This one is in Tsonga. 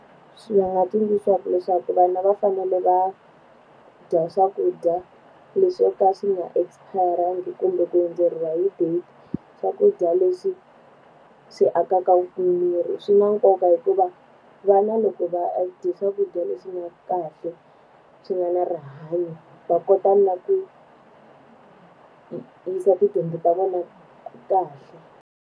Swi va nga tsundzuxaka leswaku vana va fanele va dya swakudya leswi swo ka swi nga expire-angi kumbe ku hundzeriwa hi date. Swakudya leswi swi akaka ku mi mirhi. Swi na nkoka hikuva vana loko va dya swakudya leswi nga kahle, swi nga na rihanyo, va kota na ku yisa tidyondzo ta vona kahle.